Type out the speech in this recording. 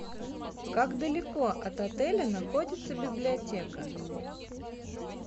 как далеко от отеля находится библиотека